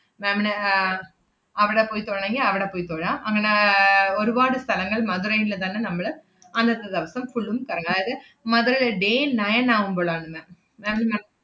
ma'am ന് ആഹ് അവടെ പോയി തൊഴണെങ്കി അവടെ പോയി തൊഴാം. അങ്ങനെ ഏർ ഒരുവാട് സ്ഥലങ്ങൾ മധുരേല് തന്നെ നമ്മള് അന്നത്തെ ദെവസം full ഉം കറങ്ങാ~ ~ത് മധുരല് day nine ആവൂമ്പളാണ് ma'am ma'am ന്